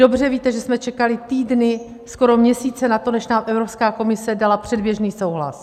Dobře víte, že jsme čekali týdny, skoro měsíce na to, než nám Evropská komise dala předběžný souhlas.